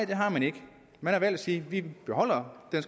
har man ikke man har valgt at sige vi beholder den